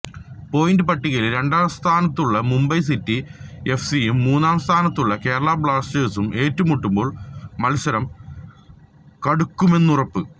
point പട്ടികയിൽ രണ്ടാംസ്ഥാനത്തുള്ള Mumbai city എഫ്സിയും മൂന്നാം സ്ഥാനത്തുള്ള കേരള ബ്ലാസ്റ്റേഴ്സും ഏറ്റുമുട്ടുമ്പോൾ മത്സരം കടുക്കുമെന്നുറപ്പ്